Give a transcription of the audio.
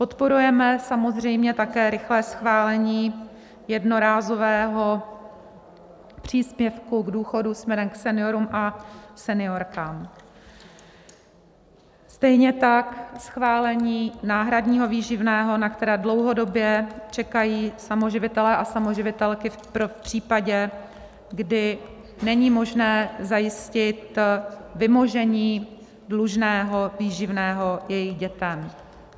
Podporujeme samozřejmě také rychlé schválení jednorázového příspěvku k důchodu směrem k seniorům a seniorkám, stejně tak schválení náhradního výživného, na které dlouhodobě čekají samoživitelé a samoživitelky v případě, kdy není možné zajistit vymožení dlužného výživného jejich dětem.